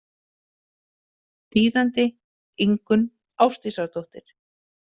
þýðandi Ingunn Ásdísardóttir.